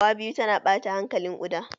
Fawa biyu tana ɓata hankalin ƙuda.